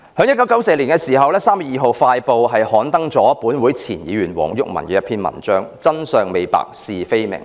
1994年3月2日，《快報》刊登了前立法會議員黃毓民一篇題為"真相未白，是非未明"的文章。